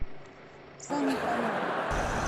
сани панова